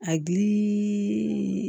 A gilii